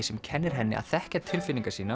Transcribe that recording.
sem kennir henni að þekkja tilfinningar sínar